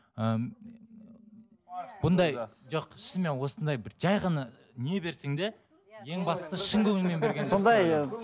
бұндай жоқ шынымен осындай бір жай ғана не берсең де ең бастысы шын көңілмен